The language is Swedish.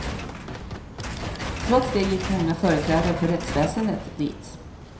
Trots det gick många företrädare för rättsväsendet dit.